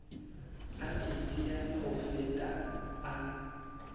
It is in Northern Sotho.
a teteane go feta a